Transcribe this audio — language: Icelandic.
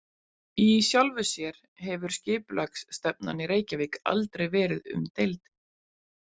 Í sjálfu sér hefur skipulagsstefnan í Reykjavík aldrei verið umdeild.